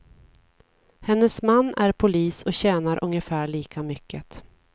Hennes man är polis och tjänar ungefär lika mycket.